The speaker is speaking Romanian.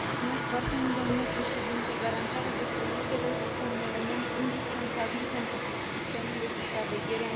Garantarea depozitelor este un element indispensabil pentru sistemul de supraveghere a instituțiilor de credit.